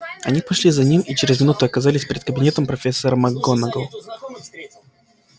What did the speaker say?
они пошли за ним и через минуту оказались перед кабинетом профессора макгонагалл